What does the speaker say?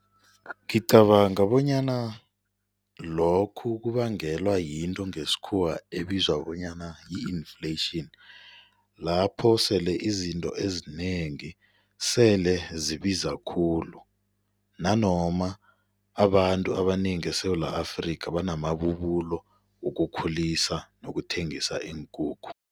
Ngicabanga bonyana lokhu kubangelwa yinto ngesikhuwa ebizwa bonyana yi-inflation lapho sele izinto ezinengi sele zibiza khulu nanoma abantu abanengi eSewula Afrika banamabubulo wokukhulisa nokuthengisa iinkukhu.